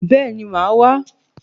Bẹ́ẹ̀ni màá wá